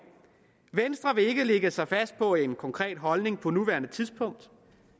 venstre vil ikke lægge sig fast på en konkret holdning på nuværende tidspunkt